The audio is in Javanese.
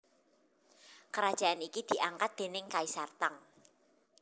Kerajaan iki diangkat déning Kaisar Tang